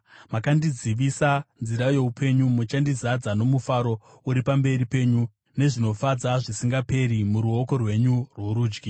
Makandizivisa nzira youpenyu; muchandizadza nomufaro uri pamberi penyu, nezvinofadza zvisingaperi muruoko rwenyu rworudyi.